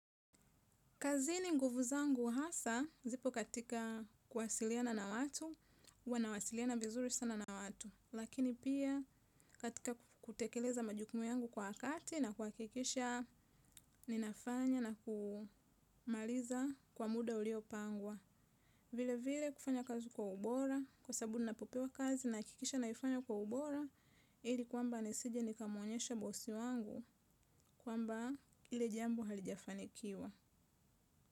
Kazini nguvu zangu hasa, zipo katika kwasiliana na watu, huwa nawasiliana vizuri sana na watu. Lakini pia katika kutekeleza majukumu yangu kwa wakati na kwakikisha, ninafanya na kumaliza kwa muda ulio pangwa. Vile vile kufanya kazi kwa ubora, kwa sabu ninapopewa kazi nakikisha naifanya kwa ubora, ili kwamba nisije nikamonyesha bosi wangu kwamba ili jambo halijafanikiwa.